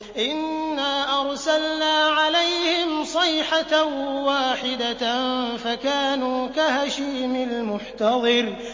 إِنَّا أَرْسَلْنَا عَلَيْهِمْ صَيْحَةً وَاحِدَةً فَكَانُوا كَهَشِيمِ الْمُحْتَظِرِ